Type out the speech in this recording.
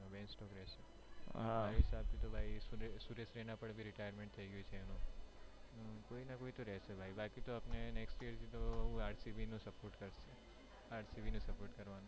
ban stocks રેહશે મારા હિસાબ થી તો ભાઈ સુરેશ રૈના પણ બી retirement થયી ગયું છે એનુ કોઈ ના કોઈ તો રેહશે ભાઈ બાકી તો આપણે next year થી તો હું RCB ને support કરશું RCB ને support કરશું.